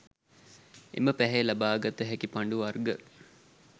එම පැහැය ලබා ගත හැකි පඬු වර්ග